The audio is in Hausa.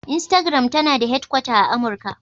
Instagram tana da hedkwata a Amurka.